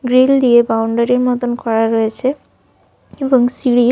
Grill দিয়ে বাউন্ডারির মতোন করা রয়েছে এবং সিঁড়ির।